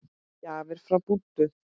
Gjafir frá Búddu.